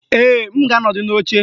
Ee, m ga-anọdụ n'oche